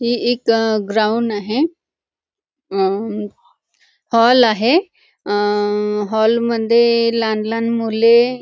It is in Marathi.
ही एक ग्राउंड आहे अहं हॉल आहे अहं हॉल मध्ये लहान लहान मुले --